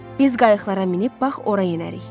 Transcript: Biz qayıqlara minib bax ora yenərik.